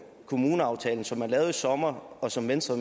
kommuneaftalen som man lavede i sommer og som venstre